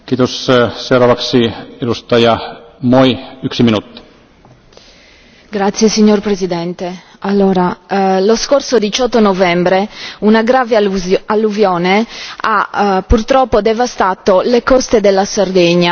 Signor Presidente, onorevoli colleghi, lo scorso 18 novembre una grave alluvione ha purtroppo devastato le coste della Sardegna, tra cui Olbia, dove ha causato vari morti e i danni sono stati ingenti.